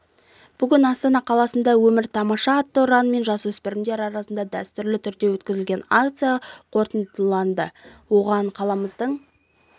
бүгін астана қаласында өмір тамаша атты ұранмен жасөспірімдер арасында дәстүрлі түрде өткізілетін акция қорытындыланды оған қаламыздың